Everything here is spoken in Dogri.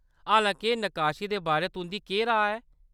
हालां-के नकाशी दे बारे तुंʼदी केह्‌‌ राऽ ऐ ?